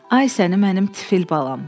Ay səni, mənim tifil balam!